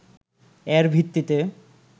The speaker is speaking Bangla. এর ভিত্তিতে